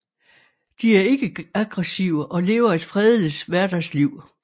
De er ikke aggressive og lever et fredeligt hverdagsliv